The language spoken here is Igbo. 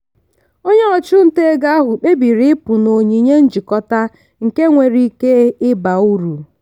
onye ọchụnta ego ahụ kpebiri ịpụ na onyinye njikọta nke nwere ike ịba uru.